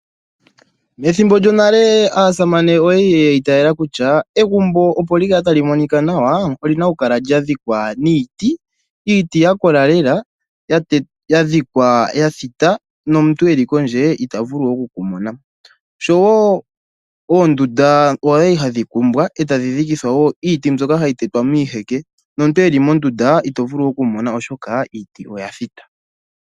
Methimbo lyonale aasamane oya li yi itayela kutya, egumbo opo li kale tali monika nawa olyi na oku kala lya dhikwa niiti. Iiti ya kola lela, ya dhikwa ya thita , nomuntu e li kondje ita vulu oku ku mona. Sho wo oondunda odhali hadhi kumbwa, e tadhi dhikithwa wo iiti mbyoka hayi tetwa miiheke, nomuntu e li mondunda ito vulu oku mona, oshoka iiti oya thita.